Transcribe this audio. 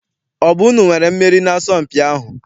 Ọ bụ unu nwere mmeri n'asọmpi ahụ?